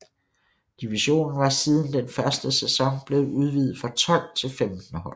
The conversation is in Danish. Divisionen var siden den første sæson blevet udvidet fra 12 til 15 hold